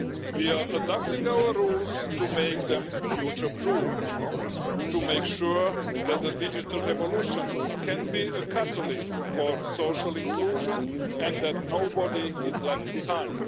We are adapting our rules to make them future proof, to make sure that the digital revolution can be a catalyst for social inclusion and that nobody is left behind.